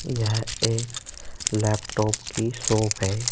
यह एक लैपटॉप की शॉप है।